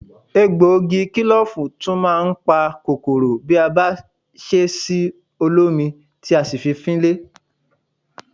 Egbògi kílòfù tún máa ń pa kòkòrò bí a bá ṣe sí olómi tí a sì fi fín ilé